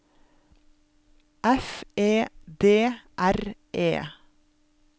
F E D R E